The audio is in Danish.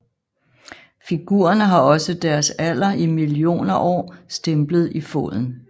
Figurerne har også deres alder i millioner år stemplet i foden